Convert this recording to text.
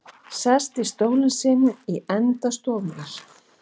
Sest í stólinn sinn í enda stofunnar.